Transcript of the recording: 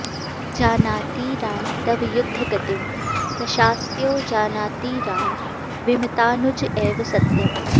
जानाति राम तव युद्धगतिं दशास्यो जानाति राम विमतानुज एव सत्यम्